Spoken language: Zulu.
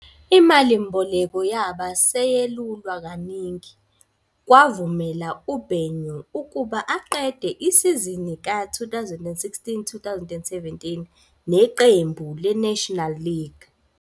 Imalimboleko yabe seyelulwa kaningi, kwavumela uBenyu ukuba aqede isizini ka-2016-17 neqembu leNational League.